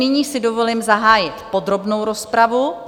Nyní si dovolím zahájit podrobnou rozpravu.